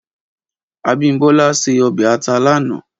Abimbola sè òbè àtá lànã